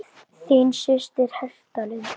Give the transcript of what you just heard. Þín systir, Hertha Lind.